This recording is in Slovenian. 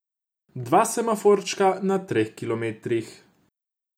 Dva semaforčka na treh kilometrih.